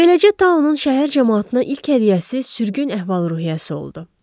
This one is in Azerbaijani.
Beləcə taunun şəhər camaatına ilk hədiyyəsi sürgün əhval-ruhiyyəsi oldu.